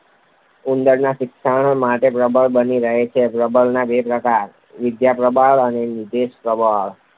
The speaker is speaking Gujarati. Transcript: ઉંદરના શિક્ષણ માટે પ્રબલન બની રહે છે. પ્રબલનના બે પ્રકાર વિધાયક પ્રબલન અને નિષેધક પ્રબલન